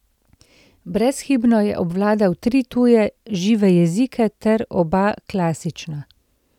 Brezhibno je obvladal tri tuje žive jezike ter oba klasična.